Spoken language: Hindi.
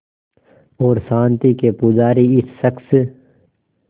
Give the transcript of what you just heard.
और शांति के पुजारी इस शख़्स